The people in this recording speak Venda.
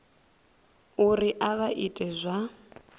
uri a vha iti zwa